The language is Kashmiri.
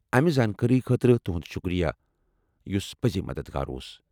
امہ زانٛکٲری خٲظرٕ تُہُند شُکریہ، یُس پٔزی مددگار اوس۔